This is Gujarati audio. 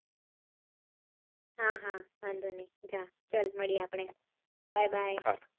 હા હા વાંધો નહી ચલ મળીયે આપળે bye bye